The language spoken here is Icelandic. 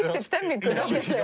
stemningunni